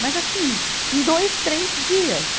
Mas assim, em dois, três dias.